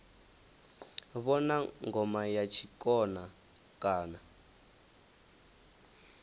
vhona ngoma ya tshikona kana